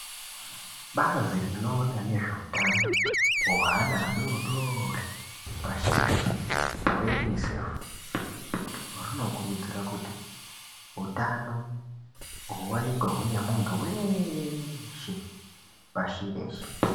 Bazi rinoona nezve utano hwe ana adodori pashi reshe hwe unisefi rwuno kurudzira kuti utano huwanikwe hune muntu weshe pashi reshe .